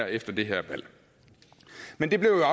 efter det her valg men det blev